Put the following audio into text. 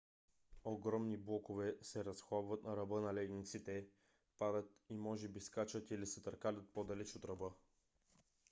огромни блокове се разхлабват на ръба на ледниците падат и може би скачат или се търкалят по - далеч от ръба